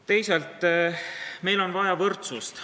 Teisalt, meil on vaja võrdsust.